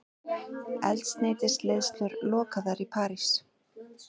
Eldsneytisleiðslur lokaðar í París